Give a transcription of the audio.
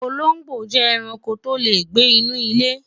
olongbo je eranko to le gbe inú ile